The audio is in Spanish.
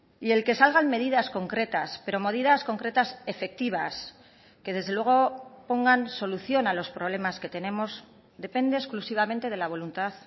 y el que salgan medidas concretas pero medidas concretas efectivas que desde luego pongan solución a los problemas que tenemos depende exclusivamente de la voluntad